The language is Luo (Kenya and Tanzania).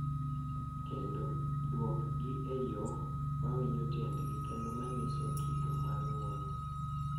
Kendo duokgi e yo ma winjo tiendgi kendo ma nyiso kido mar ng’uono.